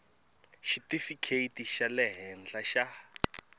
xitifikheti xa le henhla xa